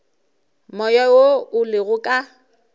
moya wo o lego ka